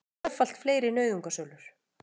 Tvöfalt fleiri nauðungarsölur